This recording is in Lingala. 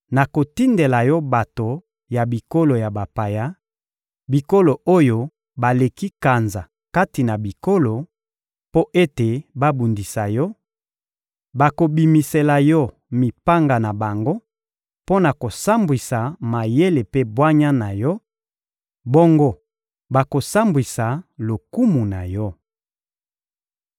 nakotindela yo bato ya bikolo ya bapaya, bikolo oyo baleki kanza kati na bikolo, mpo ete babundisa yo: bakobimisela yo mipanga na bango mpo na kosambwisa mayele mpe bwanya na yo, bongo bakosambwisa lokumu na yo.